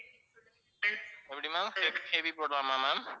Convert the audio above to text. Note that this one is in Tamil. எப்படி ma'am heavy போடலாமா ma'am